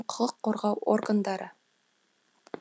құқық қорғау органдары